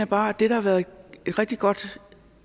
bare at det der har været en rigtig god